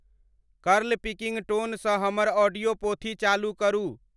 curl Pilkington स हमर audio पोथी चालु करू